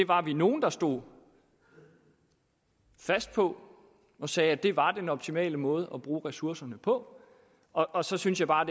var nogle der stod fast på og sagde at det var den optimale måde at bruge ressourcerne på og så synes jeg bare